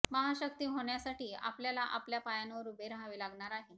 महाशक्ती होण्यासाठी आपल्याला आपल्या पायांवर उभे रहावे लागणार आहे